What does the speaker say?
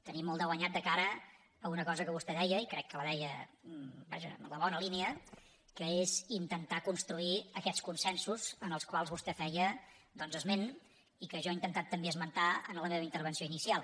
tenim molt de guanyat de cara a una cosa que vostè deia i crec que la deia vaja en la bona línia que és intentar construir aquests consensos dels quals vostès feia esment i que jo he intentat també esmentar a la meva intervenció inicial